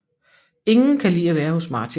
Ingen kan lide at være hos Martin